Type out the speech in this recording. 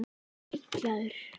Var ég heillaður?